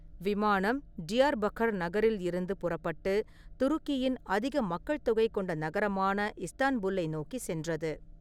விமானம் டியார்பக்கர் நகரில் இருந்து புறப்பட்டு துருக்கியின் அதிக மக்கள் தொகை கொண்ட நகரமான இஸ்தான்புல்லை நோக்கி சென்றது.